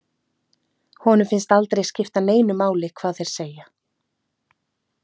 Honum finnst aldrei skipta neinu máli hvað þeir segja.